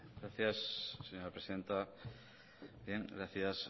gracias señora presidenta gracias